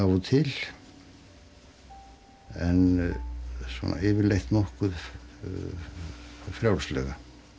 og til en svona yfirleitt nokkuð frjálslega